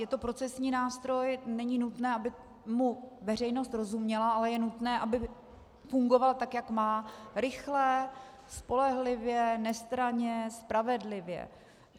Je to procesní nástroj, není nutné, aby mu veřejnost rozuměla, ale je nutné, aby fungoval tak, jak má - rychle, spolehlivě, nestranně, spravedlivě.